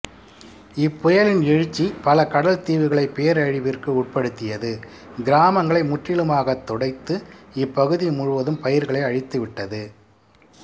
இப்புயலின் எழுச்சி பல கடல் தீவுகளை பேரழிவிற்கு உட்படுத்தியது கிராமங்களை முற்றிலுமாக துடைத்து இப்பகுதி முழுவதும் பயிர்களை அழித்துவிட்டது